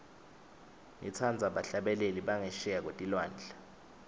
ngitsandza bahlabeleli bangesheya kwetilwandle